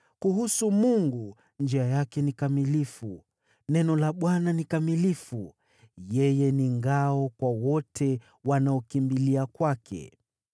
“Kuhusu Mungu, njia yake ni kamilifu; neno la Bwana halina dosari. Yeye ni ngao kwa wote wanaokimbilia kwake.